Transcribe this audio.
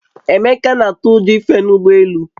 Emeka na-atụ ụjọ ife n'ụgbọ elu